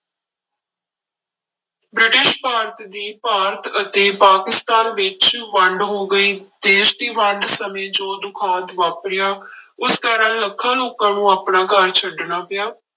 British Bharat ਦੀ ਭਾਰਤ ਅਤੇ ਪਾਕਿਸਤਾਨ ਵਿੱਚ ਵੰਡ ਹੋ ਗਈ, ਦੇਸ ਦੀ ਵੰਡ ਸਮੇਂ ਜੋ ਦੁਖਾਂਤ ਵਾਪਰਿਆ ਉਸ ਕਾਰਨ ਲੱਖਾਂ ਲੋਕਾਂ ਨੂੰ ਆਪਣਾ ਘਰ ਛੱਡਣਾ ਪਿਆ।